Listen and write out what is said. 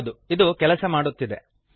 ಹೌದು ಇದು ಕೆಲಸ ಮಾಡುತ್ತಿದೆ